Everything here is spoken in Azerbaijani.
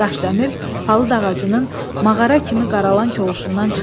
Daşdəmir palıd ağacının mağara kimi qaralan kovuşundan çıxdı.